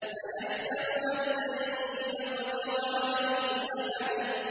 أَيَحْسَبُ أَن لَّن يَقْدِرَ عَلَيْهِ أَحَدٌ